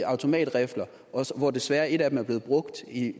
automatrifler og hvor desværre et af dem er blevet brugt i